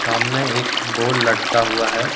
सामने एक बोल लटका हुआ है।